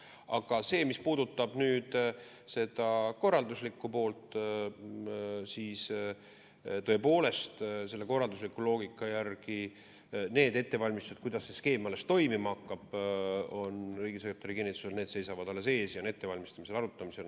Aga mis puudutab seda korralduslikku poolt, siis tõepoolest, selle korraldusliku loogika järgi need ettevalmistused, kuidas see skeem toimima hakkab, seisavad riigisekretäri kinnitusel alles ees ja on arutamisel.